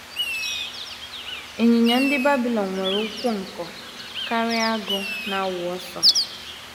Ịnyịnya ndị Babilọn nwere ụkwụ nkọ karịa agụ na - awụ ọsọ.